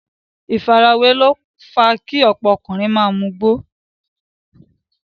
ìfarawé ló fa kí ọ̀pọ̀ ọkùnrin ma mugbó.